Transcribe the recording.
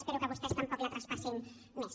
espero que vostès tampoc la traspassin més